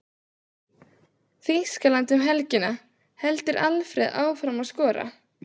Þýskaland um helgina- Heldur Alfreð áfram að skora?